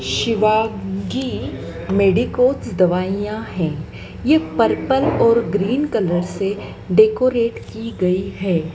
शिवा की मेडिकोज दवाइयाँ हैं यह पर्पल और ग्रीन कलर से डेकोरेट की गई है।